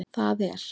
það er